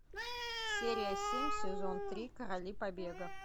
серия семь сезон три короли побега